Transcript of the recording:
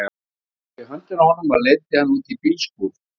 Hún tók í höndina á honum og leiddi hann út í bílskúr.